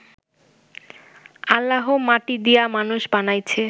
আল্লাহ মাটি দিয়া মানুষ বানাইছে